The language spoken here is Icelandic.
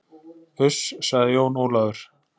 Uss, sagði Jón Ólafur.